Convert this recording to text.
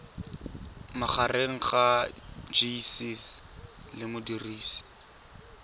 magareng ga gcis le modirisi